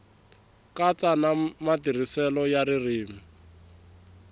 katsa na matirhiselo ya ririmi